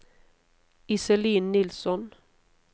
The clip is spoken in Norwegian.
Iselin Nilsson